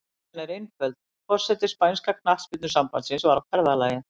Ástæðan er einföld, forseti spænska knattspyrnusambandsins var á ferðalagi.